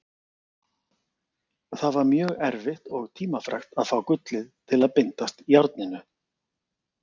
Það var mjög erfitt og tímafrekt að fá gullið til að bindast járninu.